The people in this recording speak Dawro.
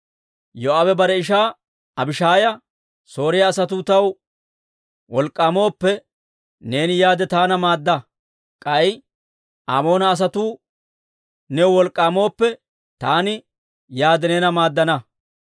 Yoo'aabe bare ishaa Abishaaya, «Sooriyaa asatuu taw wolk'k'aamooppe, neeni yaade taana maadda. K'ay Amoona asatuu new wolk'k'aamooppe, taani yaade neena maaddana.